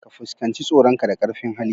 Ka fuskanci tsoronka da ƙarfin hali